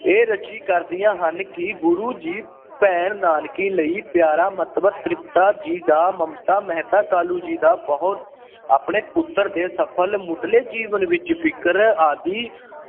ਇਹ ਰਚੀ ਕਰਦੀਆਂ ਹਨ ਕਿ ਗੁਰੂ ਜੀ ਭੈਣ ਨਾਨਕੀ ਲਈ ਪਿਆਰਾ, ਮਾਤਾ ਤ੍ਰਿਪਤਾ ਜੀ ਦਾ ਮਮਤਾ, ਮਹਿਤਾ ਕਾਲੂ ਜੀ ਦਾ ਬਹੁਤ ਆਪਣੇ ਪੁੱਤਰ ਦੇ ਸਫ਼ਲ ਮੁਢਲੇ ਜੀਵਨ ਵਿੱਚ ਫ਼ਿਕਰ ਆਦਿ